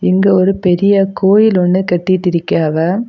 இங்க ஒரு பெரிய கோயில் ஒன்னு கட்டிட்டு இருக்காவ.